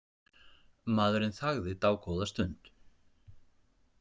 Maðurinn þagði dágóða stund.